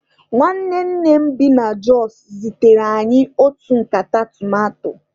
Nwanne nne m bi na Jọs zitere anyị otu nkata tomato.